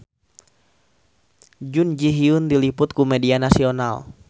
Jun Ji Hyun diliput ku media nasional